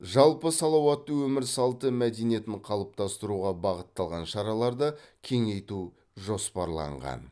жалпы салауатты өмір салты мәдениетін қалыптастыруға бағытталған шараларды кеңейту жоспарланған